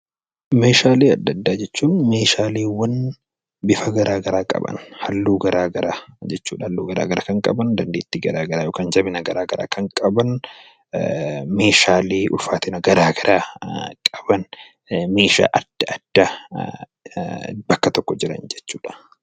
Meeshaalee addaa addaa jechuun Meeshaalee bifa garaagaraa qaban, halluu garaagaraa qaban , jabina garaagaraa qaban , Meeshaalee ulfaatina garaagaraa qaban meeshaa addaa addaa bakka tokko jiran jechuudha.